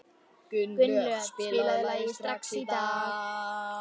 Gunnlöð, spilaðu lagið „Strax í dag“.